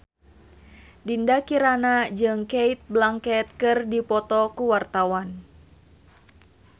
Dinda Kirana jeung Cate Blanchett keur dipoto ku wartawan